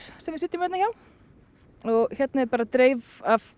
sem við sitjum hérna hjá og hérna er bara dreif af